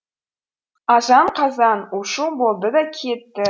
азан қазан у шу болды да кетті